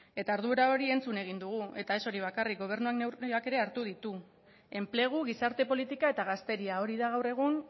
eta ardura hori entzun egin dugu eta ez hori bakarrik gobernuak neurriak ere hartu ditu enplegu gizarte politika eta gazteria hori da gaur egun